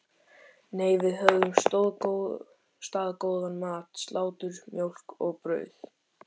Nei, við höfðum staðgóðan mat: Slátur, mjólk og brauð.